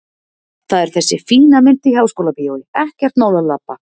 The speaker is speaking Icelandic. Það er þessi fína mynd í Háskólabíói, ekkert mál að labba!